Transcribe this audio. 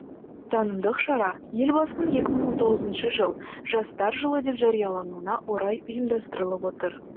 танымдық шара елбасының екі мың он тоғызыншы жыл жастар жылы деп жариялануына орай ұйымдастырылып отыр